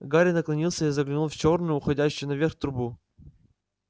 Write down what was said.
гарри наклонился и заглянул в чёрную уходящую наверх трубу